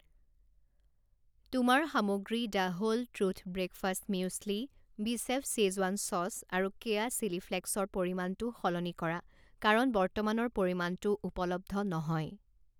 তোমাৰ সামগ্ৰী the whole truth breakfast muesli, বিচেফ শ্বেজৱান চচ আৰু কেয়া চিলি ফ্লেকছৰ পৰিমাণটো সলনি কৰা কাৰণ বৰ্তমানৰ পৰিমাণটো উপলব্ধ নহয়।